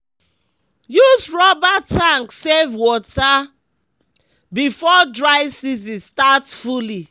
use rubber tank save water before dry season start fully